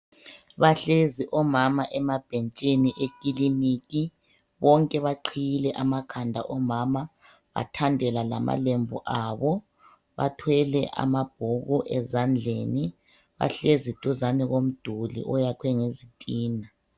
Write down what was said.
Bahlezi omama emabhentshini ekliniki. Bonke baqhiyile amakhanda omama bathandela lamalembu abo. Bathwele amabhuku ezandleni . Bahlezi duzane komduli oyakhwe ngezitina.